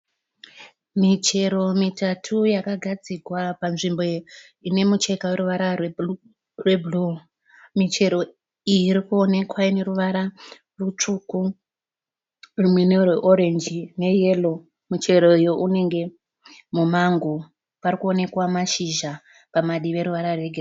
Michero mitatu yakagadzirwa panzvimbo ine mucheka une ruvara rwebhuru, michero iyi irikuonekwa ineruvara rutsvuku rumwe nderweoranji neyero. Muchero uyu unenge mumango parikuonekwa mashizha padivi ane ruvara rwegirini.